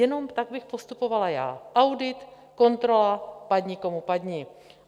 Jenom tak bych postupovala já: audit, kontrola, padni, komu padni.